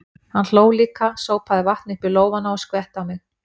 Hann hló líka, sópaði vatni upp í lófana og skvetti á mig.